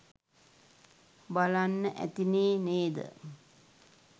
බලන්න ඇතිනේ නේද?